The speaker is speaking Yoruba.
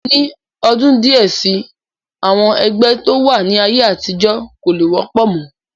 Ní ọdún díẹ̀ si, àwọn ẹgbẹ́ tí ó wà ní ayé àtijọ́ kò lè wọ́pọ̀ mọ́